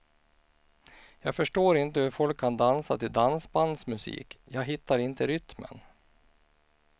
Jag förstår inte hur folk kan dansa till dansbandsmusik, jag hittar inte rytmen.